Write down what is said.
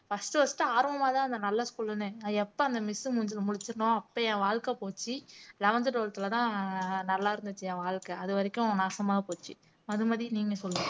first first ஆர்வமாதான் இருந்தேன் நல்ல school ன்னு நான் எப்ப அந்த miss மூஞ்சியில முழிச்சனோ அப்ப என் வாழ்க்கை போச்சு eleventh twelfth லதான் நல்லா இருந்துச்சு என் வாழ்க்கை அது வரைக்கும் நாசமா போச்சு மதுமதி நீங்க சொல்லுங்க